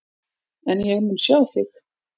En ég mun sjá þig.